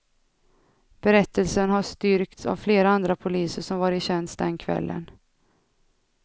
Berättelsen har styrkts av flera andra poliser som var i tjänst den kvällen.